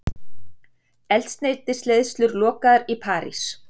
Eldsneytisleiðslur lokaðar í París